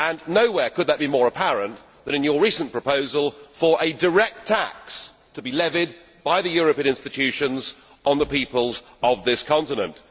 Nowhere could that be more apparent than in your recent proposal for a direct tax to be levied by the European institutions on the peoples of this continent.